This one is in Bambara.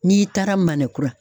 N'i taara Manɛn kura.